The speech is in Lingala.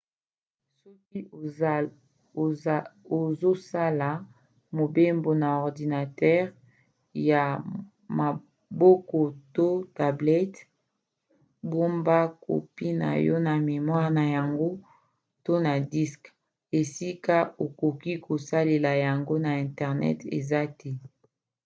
soki ozosala mobembo na ordinatere ya maboko to tablete bomba kopi moko na memoire na yango to na diske esika okoki kosalela yango ata internet eza te